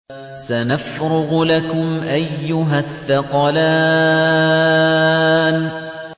سَنَفْرُغُ لَكُمْ أَيُّهَ الثَّقَلَانِ